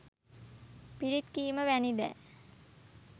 පිරිත් කීම වැනි දෑ